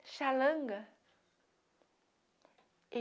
xalanga.